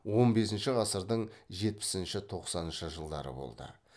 он бесінші ғасырдың жетпісінші тоқсаныншы жылдары болды